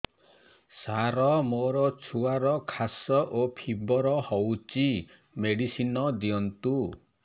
ସାର ମୋର ଛୁଆର ଖାସ ଓ ଫିବର ହଉଚି ମେଡିସିନ ଦିଅନ୍ତୁ